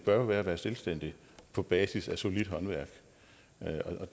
bør jo være at være selvstændig på basis af solidt håndværk